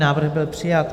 Návrh byl přijat.